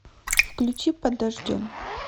включи под дождем